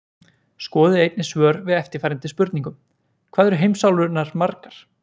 Skoðið einnig svör við eftirfarandi spurningum: Hvað eru heimsálfurnar margar?